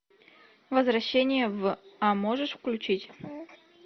возвращение в а можешь включить